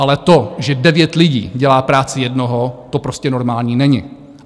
Ale to, že devět lidí dělá práci jednoho, to prostě normální není.